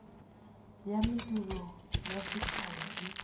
ya mediro ya setšhaba e